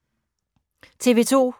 TV 2